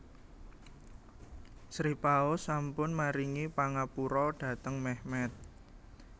Sri Paus sampun maringi pangapura dhateng Mehmet